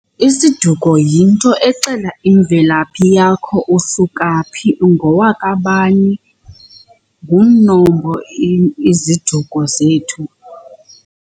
Isiduko yinto exela imvelaphi yakho, usuka phi, ungowaka bani. Ngumnombo iziduko zethu.